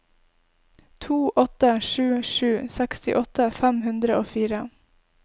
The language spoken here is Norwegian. to åtte sju sju sekstiåtte fem hundre og fire